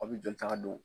Aw bɛ joli taga don